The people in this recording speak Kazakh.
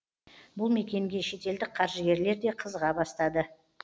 бұл мекенге шетелдік қаржыгерлер де қызыға бастады